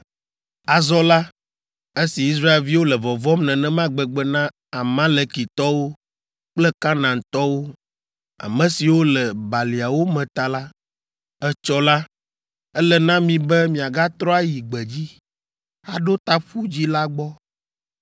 Azɔ la, esi Israelviwo le vɔvɔ̃m nenema gbegbe na Amalekitɔwo kple Kanaantɔwo, ame siwo le baliawo me ta la, etsɔ la, ele na mi be miagatrɔ ayi gbedzi, aɖo ta Ƒu Dzĩ la gbɔ.”